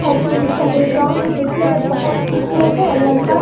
और जो इसका बैकग्राउंड देकने में बहुत खूबसूरत है और लड़का --